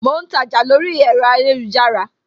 Mo ń ta ọjà lórí ẹ̀rọ ayélujára